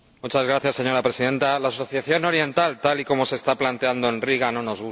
Señora Presidenta, la Asociación Oriental, tal y como se está planteando en Riga, no nos gusta.